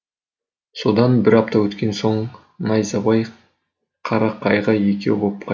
содан бір апта өткен соң найзабай қарақайға екеу боп қайтқан